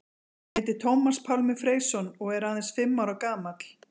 Hann heitir Tómas Pálmi Freysson og er aðeins fimm ára gamall.